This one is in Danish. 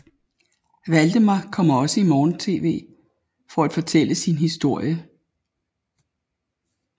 Waldemar kommer også i morgentv for at fortælle sin historie